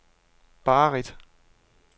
Barrit